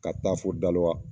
Ka taa fo Dalowa.